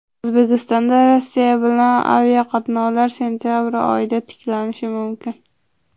O‘zbekistonda Rossiya bilan aviaqatnovlar sentabr oyida tiklanishi mumkin.